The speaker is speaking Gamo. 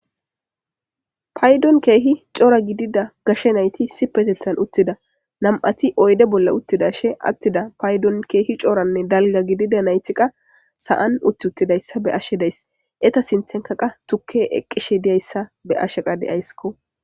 Payidoni kehi coora gididda gashe nayiti uttida ettape nami'ati oyide bolla utida shini payidoni coora nayiti sa'ani uttida ette sinithani qassi tukeyi eqishe deyeyisa bayayisi.